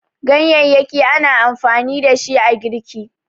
gaye ana amfani da shi a girki